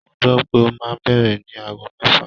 Mo gbọ́ pé ó máa bẹ̀rẹ̀ ní ago mẹ́fà.